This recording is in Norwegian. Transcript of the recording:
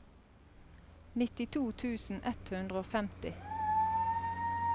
nittito tusen ett hundre og femti